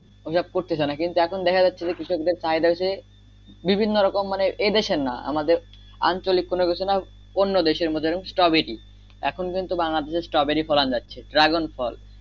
ও সব করতে চায় না এখন কৃষকদের চাহিদা হইছে বিভিন্ন রকম মানে এ দেশের না আমাদের আঞ্চলিক কোন কিছু না অন্য দেশের মতো স্ট্রোবেরি এখন পর্যন্ত বাংলাদেশে স্ট্রোবেরি ফলান যাচ্ছে ড্রাগন ফল